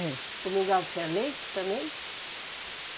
É. O miungau tinha leite também?